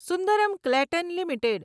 Sundaram Clayton limited